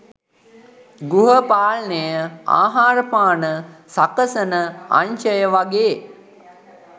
ගෘහ පාලනය ආහාරපාන සකසන අංශය වගේ